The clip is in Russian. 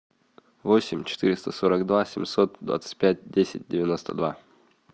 восемь четыреста сорок два семьсот двадцать пять десять девяносто два